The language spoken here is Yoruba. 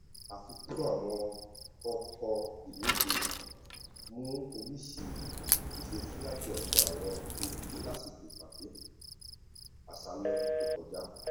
àfikún àwọn ọkọ ìwọdé mú oríṣìí ìṣesí láti ọdọ àwọn olùgbé lásìkò ìpàdé àṣálẹ tó kọjá